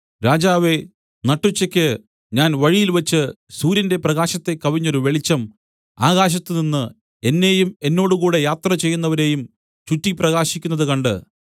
രാജാവേ നട്ടുച്ചയ്ക്ക് ഞാൻ വഴിയിൽവച്ച് സൂര്യന്റെ പ്രകാശത്തെ കവിഞ്ഞൊരു വെളിച്ചം ആകാശത്തിൽനിന്ന് എന്നെയും എന്നോടുകൂടെ യാത്രചെയ്യുന്നവരെയും ചുറ്റി പ്രകാശിക്കുന്നത് കണ്ട്